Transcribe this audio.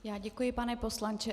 Já děkuji, pane poslanče.